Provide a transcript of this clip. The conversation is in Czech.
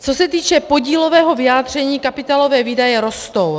Co se týče podílového vyjádření, kapitálové výdaje rostou.